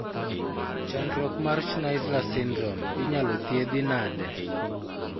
Chandruok mar Schnitzler syndrome inyalo thiedhi nade?